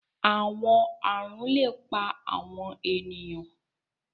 Awọn arun le pa awọn eniyan